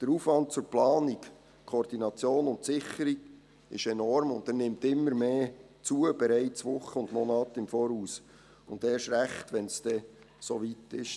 Der Aufwand zur Planung, Koordination und Sicherung ist enorm, und er nimmt immer mehr zu, bereits Wochen und Monate im Voraus, und erst recht, wenn es so weit ist.